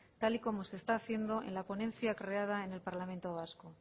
tal y como se está haciendo en la ponencia creado en el parlamento vasco